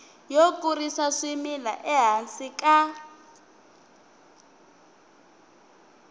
yo kurisa swimila ehansi ka